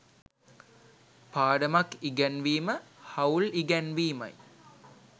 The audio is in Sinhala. පාඩමක් ඉගැන්වීම හවුල් ඉගැන්වීමයි.